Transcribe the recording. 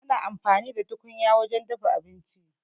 Ana amfani da tukunya wajen dafa abinci